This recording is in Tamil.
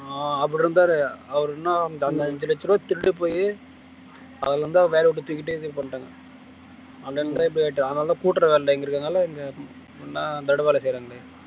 அப்படி இருந்தாரு அவரு இன்னும் அந்த அஞ்சு லட்ச ரூபாய் திருட்டு போயி அதுல இருந்துதான் வேலையை விட்டு தூக்கிட்டே இது பண்ணிட்டாங்க அதனாலதான் கூட்டுற வேலை இங்க இருக்கிறதுனால இங்க நான் தடு வேலை செய்யறேன்னு